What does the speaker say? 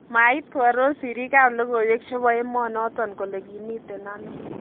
Mait koaror siriik ab logoiwek chebo emonoton kole kimiten ano